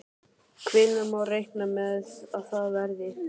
Hvenær má reikna með að það verði?